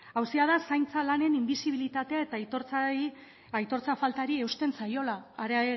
auzia da zaintza lanen inbisibilitatea eta aitortza faltari eusten zaiola are